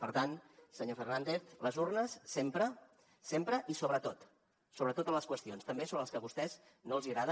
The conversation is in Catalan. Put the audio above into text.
per tant senyor fernández les urnes sempre sempre i sobre tot sobre totes les qüestions també sobre les que a vostès no els agraden